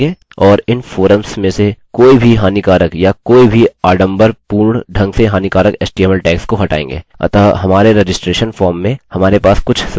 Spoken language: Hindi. हम अपने पासवर्ड्स को एन्क्रिप्ट भी करेंगे और इन फोरम्स में से कोई भी हानिकारक या कोई भी आडंबरपूर्ण ढंग से हानिकारक html टैग्स को हटाएँगे अतः हमारे रजिस्ट्रैशन फॉर्म में हमारे पास कुछ सुरक्षा होगी